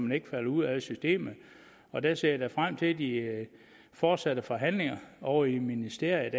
man ikke falder ud af systemet og der ser jeg da frem til de fortsatte forhandlinger ovre i ministeriet